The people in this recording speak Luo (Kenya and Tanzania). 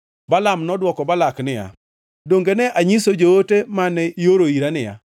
Balaam nodwoko Balak niya, “Donge ne anyiso joote mane ioro ira niya,